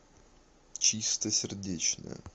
чистосердечная